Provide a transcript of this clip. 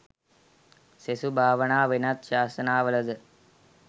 සෙසු භාවනා වෙනත් ශාසනවලද